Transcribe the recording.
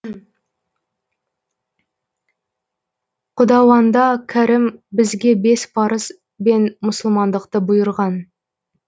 құдауанда кәрім бізге бес парыз бен мұсылмандықты бұйырған